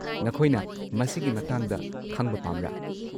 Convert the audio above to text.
ꯅꯈꯣꯏꯅ ꯃꯁꯤꯒꯤ ꯃꯇꯥꯡꯗ ꯈꯪꯕ ꯄꯥꯝꯕ꯭ꯔꯥ?